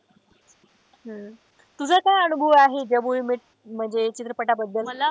हम्म तुझा काय अनुभव आहे जब वी मेट म्हणजे चित्रपटाबद्दल.